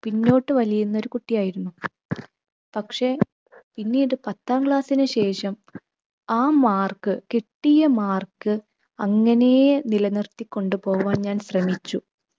പിന്നോട്ട് വലിയുന്നൊരു കുട്ടിയായിരുന്നു. പക്ഷെ ഇനിയിത് പത്താം class നു ശേഷം ആ mark കിട്ടിയ mark അങ്ങനെ നില നിർത്തിക്കൊണ്ടു പോവാൻ ഞാൻ ശ്രമിച്ചു.